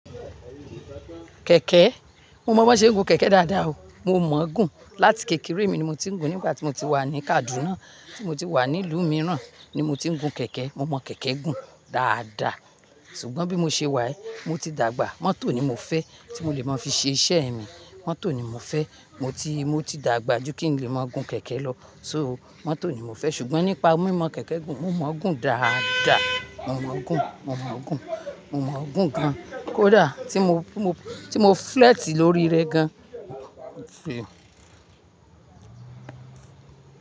Kẹ̀kẹ́? Mo mọ̀ bó ṣe ń gun kẹ̀kẹ́ dáadáa o. Mo mọ̀ gún. Láti kékeré mi ni mo ti ń gun. Nígbà tí mo ti wà ní Kaàdu, tí mo ti wà ní ìlú mìíràn ni mo ti ń gun kẹ̀kẹ́. Mo mọ̀ kẹ̀kẹ́ gùn dáadáa. Ṣùgbọ́n bí mo ṣe wà yii, mo ti dàgbà. Mọ́tò ni mo fẹ́ tí mo lè máa fi ṣe iṣẹ́ mi. Mọ́tò ni mo fẹ́. Mo ti, mo ti dàgbà ju kí n lè máa gun kẹ̀kẹ́ lọ. So mọ́tò ni mo fẹ́. Ṣùgbọ́n nípa mímọ kẹ̀kẹ́ gùn, mo mọ̀ gún dáadáa. Mo mọ̀ gún, mo mọ̀ gún, mo mọ̀ gún gan-an. Kódà tí mo, tí mo, tí mo flẹ́ẹ̀tì lórí rẹ gan.